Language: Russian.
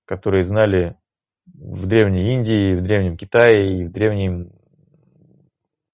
которые знали в древней индии и древнем китае и древнем